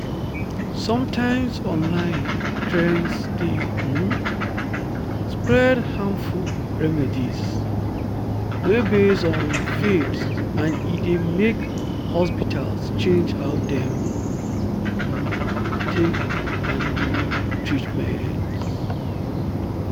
sometimes online trends dey um spread harmful remedies wey base on faith and e dey make hospitals change how dem um take handle treatment.”